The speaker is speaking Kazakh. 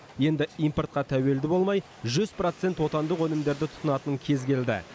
енді импортқа тәуелді болмай жүз процент отандық өнімдерді тұтынатын кез келді